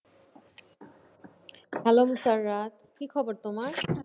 Hello Musarrat, কি খবর তোমার?